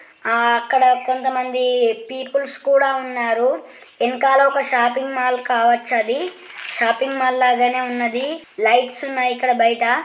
ఆ అక్కడా కొంతమంది పీపుల్స్ కోడా ఉనారు వెనకాల ఒక షాప్పింగ్ మాల్ కావచు అది షాపింగ్ మాల్ లాగానే ఉనాది లైట్స్ ఉనాయి ఇక్కడ బైటా.